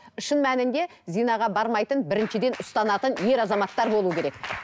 шын мәнінде зинаға бармайтын біріншіден ұстанатын ер азаматтар болуы керек